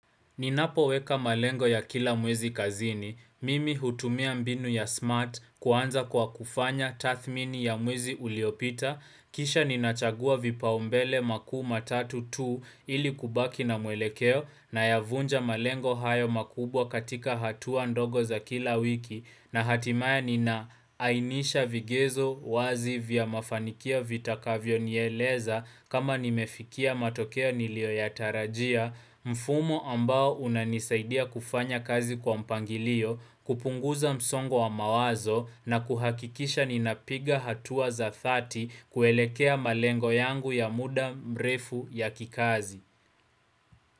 Ninapo weka malengo ya kila mwezi kazini, mimi hutumia mbinu ya smart kuanza kwa kufanya tathmini ya mwezi uliopita, kisha ninachagua vipaumbele makuu matatu tu ili kubaki na muelekeo na yavunja malengo hayo makubwa katika hatua ndogo za kila wiki na hatimaye nina lainisha vigezo wazi vya mafanikia vitakavyo nieleza kama nimefikia matokeo nilio yatarajia mfumo ambao unanisaidia kufanya kazi kwa mpangilio, kupunguza msongo wa mawazo na kuhakikisha ninapiga hatua za 30 kuelekea malengo yangu ya muda mrefu ya kikazi.